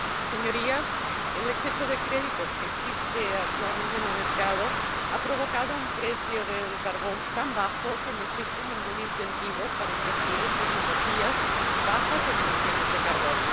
Señorías, el exceso de créditos que existe actualmente en el mercado ha provocado un precio del carbón tan bajo que no existe ningún incentivo para invertir en tecnologías bajas en emisiones de carbono.